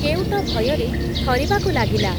କେଉଟ ଭୟରେ ଥରିବାକୁ ଲାଗିଲା ।